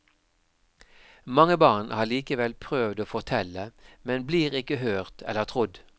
Mange barn har likevel prøvd å fortelle, men blir ikke hørt eller trodd.